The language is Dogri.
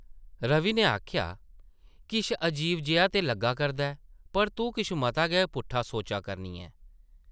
रवि नै आखेआ, किश अजीब जेहा ते लग्गा करदा ऐ, पर तूं किश मता गै पुट्ठा सोचा करनी ऐं ।